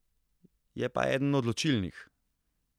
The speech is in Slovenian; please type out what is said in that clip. Je pa eden odločilnih.